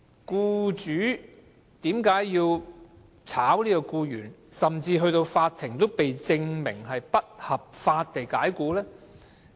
僱主為何要解僱僱員，甚至被法庭證明是不合法地解僱？